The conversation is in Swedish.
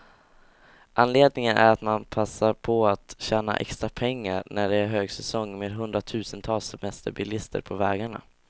Anledningen är att man passar på att tjäna extra pengar, när det är högsäsong med hundratusentals semesterbilister på vägarna.